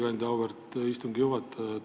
Aitäh, auväärt istungi juhataja!